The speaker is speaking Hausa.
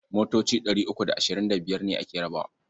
Motoci ɗari uku da ashirin da biyar ne ake rabawa.